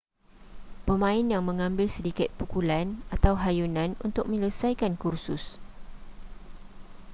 pemain yang mengambil sedikit pukulan atau hayunan untuk menyelesaikan kursus